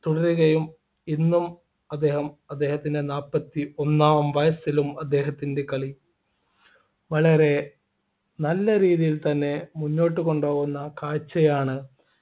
തുടരുകയും ഇന്നും അദ്ദേഹം അദ്ദേഹത്തിൻ്റെ നാല്പത്തിഒന്നാം വയസ്സിലും അദ്ദേഹത്തിൻ്റെ കളി വളരെ നല്ല രീതിയിൽ തന്നെ മുന്നോട്ടുകൊണ്ടുപോകുന്ന കാഴ്ചയാണ്